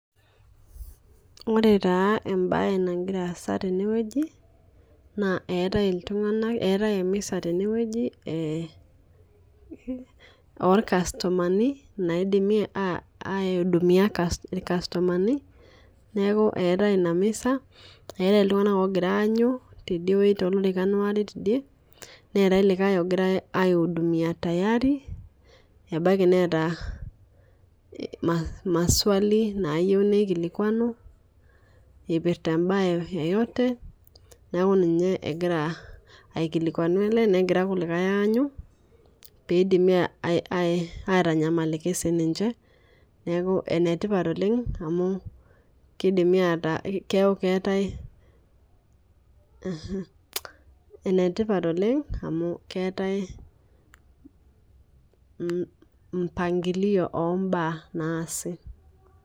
Ore taa ebae nagira aasa teneweji naa etae iltung'ana, eate emisa teneweji oo customani naidimi aihudumia ilcustomani neeku etae ina misa, etae iltung'ana ogirae aanyuu tidieweji too lorikan ware tidieweji netae olikae logiamrae aihudimia tayari ebaki neeta maswali nayeu nikilikuanu. Ipirta ebae yoyote ninye egira akilikuanu. Elelek naa egira irkulikae anyuu peidimi atanyamaliki sii ninche neeku enetipat oleng' amu kidimi ataa keeku ketae. Enetipat oleng' amu keetae mpangilio obaa naasi.